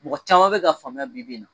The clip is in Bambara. Mɔgɔ caman bɛ ka faamuya bi bi in na